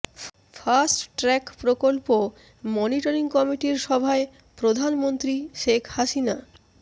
fast track প্রকল্প monitoring কমিটির সভায় প্রধানমন্ত্রী শেখ হাসিনা